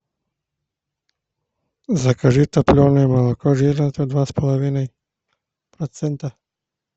закажи топленое молоко жирностью два с половиной процента